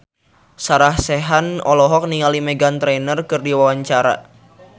Sarah Sechan olohok ningali Meghan Trainor keur diwawancara